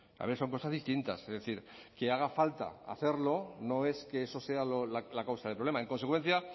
a ver son cosas distintas es decir que haga falta hacerlo no es que eso sea la causa del problema en consecuencia